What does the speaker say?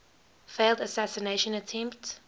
failed assassination attempt